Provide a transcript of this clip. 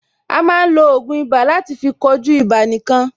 A máa ń lo ògùn ibà láti fí kojú ibà nìkan.